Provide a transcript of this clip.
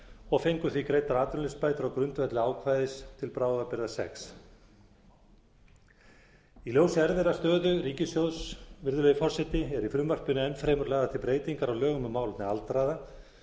og fengu því greiddar atvinnuleysisbætur á grundvelli ákvæðis til bráðabirgða sjötti í ljósi erfiðrar stöðu ríkissjóðs virðulegi forseti eru í frumvarpinu enn fremur lagðar til breytingar á lögum um málefni aldraðra